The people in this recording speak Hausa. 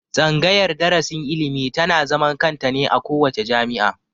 Tsangayar darasin ilimi ta na zaman kanta ne a kowace jami'a